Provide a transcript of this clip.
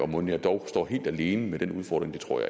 mon jeg dog står helt alene med den udfordring det tror